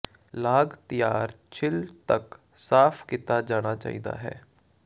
ਲਾਗ ਤਿਆਰ ਛਿੱਲ ਤੱਕ ਸਾਫ਼ ਕੀਤਾ ਜਾਣਾ ਚਾਹੀਦਾ ਹੈ